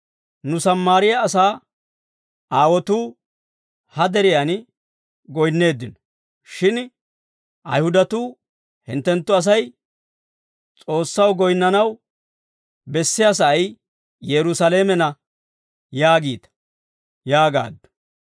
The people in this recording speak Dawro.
nu Sammaariyaa asaa aawotuu ha deriyaan goyinneeddino; shin Ayihudatuu hinttenttu Asay S'oossaw goyinnanaw bessiyaa sa'ay Yerusaalamenna yaagiita» yaagaaddu.